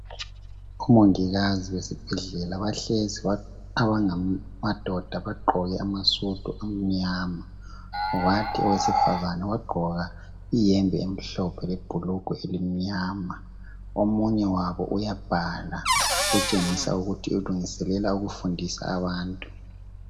Omongikazi besibhedlela bahlezi abangamadoda bagqoke amasudu amnyama .Kwathi owesifazana wagqoka iyembe emhlophe lebhulugwe elimnyama .Omunye wabo uyabhala kutshengisa ukuthi ulungiselela ukufundisa abantu .